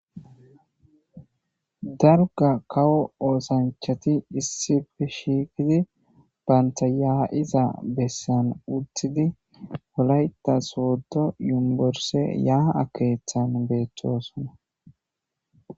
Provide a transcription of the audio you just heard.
darga kawo oosanchati issife shiikidi baynta yaa7iza bessan uttidi olayta sooddo yumborse yaha akeeththan beettosona